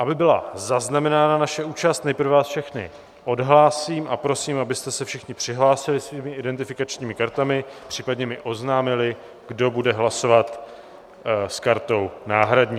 Aby byla zaznamenána naše účast, nejprve vás všechny odhlásím a prosím, abyste se všichni přihlásili svými identifikačními kartami, případně mi oznámili, kdo bude hlasovat s kartou náhradní.